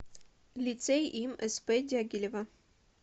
лицей им сп дягилева